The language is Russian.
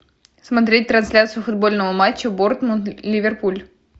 смотреть трансляцию футбольного матча борнмут ливерпуль